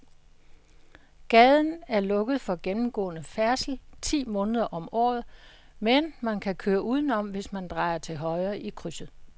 Gaden er lukket for gennemgående færdsel ti måneder om året, men man kan køre udenom, hvis man drejer til højre i krydset.